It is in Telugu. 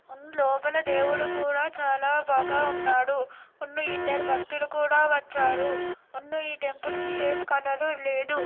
లోపల దేవుడు కూడా చాలా బాగా ఉన్నాడు ఉన్న ఇద్దరు భక్తులు కూడా వచారు ముందు ఈ టెంపుల్ కి ఎం కలర్ లేదు.